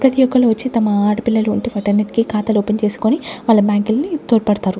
ప్రతి ఒక్కళ్ళు వచ్చి తమ ఆడపిల్లలు ఉండి వాటన్నింటికి ఖాతాలు ఓపెన్ చేసుకొని వాళ్ళ బ్యాంకుల్ని తోడుపడతారు.